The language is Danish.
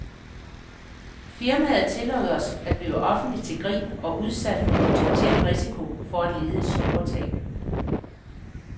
Firmaet tillod os at blive offentligt til grin og udsat for potentiel risiko for at lide store tab.